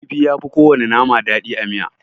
Kifi yafi kowana nama daɗi a miya.